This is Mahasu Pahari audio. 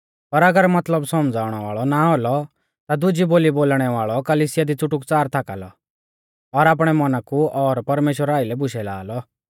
पर अगर मतलब सौमझ़ाउणा वाल़ौ ना औलौ ता दुजी बोली बोलणै वाल़ौ कलिसिया दी च़ुटुकच़ार थाका लौ और आपणै मौना कु और परमेश्‍वरा आइलै बुशै ला लौ